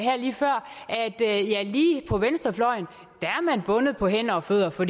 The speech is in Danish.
lige på venstrefløjen er man bundet på hænder og fødder for